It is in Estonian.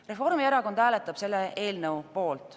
Reformierakond hääletab selle eelnõu poolt.